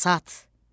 Basat.